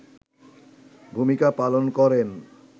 ভূমিকা পালন করেন